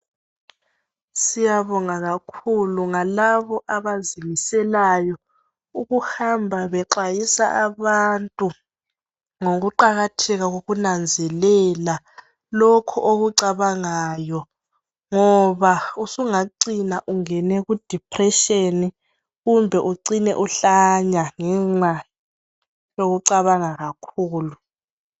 Siyabonga kakhulu, ngalabo abazimiselayo ukuhamba bexwayisa abantu ngokuqakatheka kokunanzelela lokho okucabangayo, ngoba usungacina ungene kudepression kumbe ucine uhlanya ngenxa yokucabanga kakhulu.